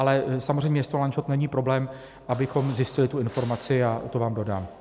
Ale samozřejmě město Lanžhot není problém, abychom zjistili tu informaci, a to vám dodám.